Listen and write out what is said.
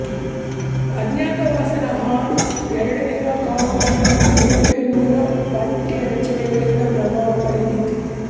ಅಜ್ಞಾತವಾಸದ ಹಾಡು ಎರಡನೆಯ ಕಾಲಮಾನವು ಯುರೊಪಿಯನ್ನಿನ ಪಠ್ಯರಚನೆಗಳಿಂದ ಪ್ರಭಾವ ಪಡೆಯಿತು